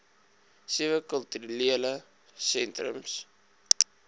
sewe kulturele sentrums